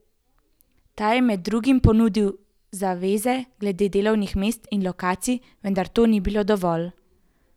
Ta je med drugim ponudil zaveze glede delovnih mest in lokacij, vendar to ni bilo dovolj.